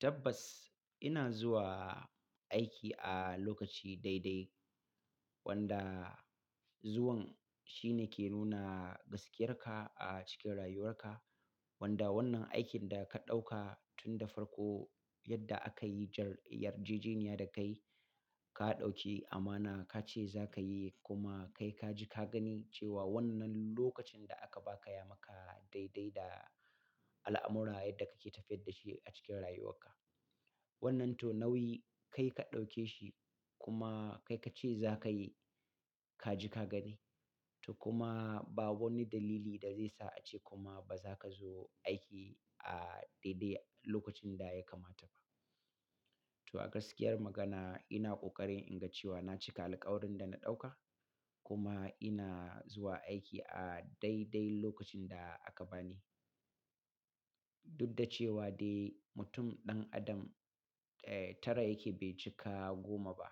Tabbas ina zuwa aiki a lokaci daidai wanda zuwan shine ke nuna gaskiyarka a cikin rayuwarka. Wanda wannan aikin da ka ɗauka tun da farko, yadda aka yi jar- yarjejeniya da kai, ka ɗauki amana ka ce za ka yi kuma kai ka ji ka gani cewa wannan lokacin da aka ba ka ya maka daidai da al'amura yadda kake tafiyar da shi a cikin rayuwarka. Wannan to nauyi kai ka ɗauke shi kuma kai ka ce za ka yi, ka ji ka gani. To kuma ba wani dalili da zai sa ace kuma ba za ka zo aiki a daidai lokacin da ya kamata ba. To a gaskiyar magana ina ƙoƙarin inga cewa na cika alƙawarin da na ɗauka kuma ina zuwa aiki a daidai lokacin da aka bani. Dudda cewa dai mutum ɗan adam, eh tara yake bai cika goma ba.